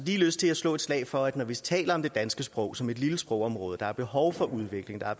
lige lyst til at slå et slag for samtidsforfatterne når vi taler om det danske sprog som et lille sprogområde som har behov for udvikling og